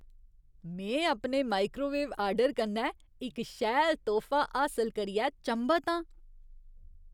में अपने microwave order कन्नै इक शैल तोह्फा हासल करियै चंभत आं।